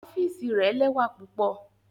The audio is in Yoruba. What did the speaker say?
Ọfiisi rẹ lẹwa pupọ.